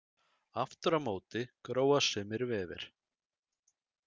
Aftur á móti gróa sumir vefir.